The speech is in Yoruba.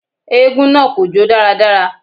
Eégún náà kò jó dáradára